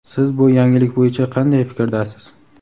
Siz bu yangilik bo‘yicha qanday fikrdasiz?.